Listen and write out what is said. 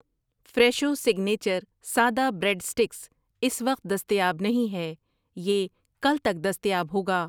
Fresho signature سادہ bread sticks اس وقت دستیاب نہیں ہے، یہ کل تک دستیاب ہوگا۔